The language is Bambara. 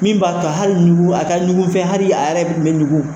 Min b'a to hali ɲugu a ka ɲugu fɛ hali a yɛrɛ bɛ ɲugu.